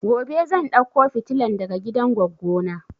Gobe zan dauko fitilan daga gidan goggo na